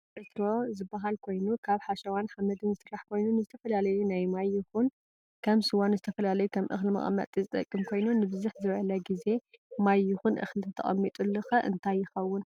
እዚ ዕትሮ ዝበሃል ኮይኑ ካብ ሓሸዋን ሓመድን ዝስራሕ ኮይኑ ንዝተፈላለዩ ናይ ማይ ይኩን ከም ስዋ ንዝተፈላለዩ ከም እክሊ መቀመጢ ዝጠቅም ኮይኑ ንብዝሕ ዘበለ ግዚ ማይ የኩን እክእሊ ተተቀሚጥሉ ከ እንታይ የከው?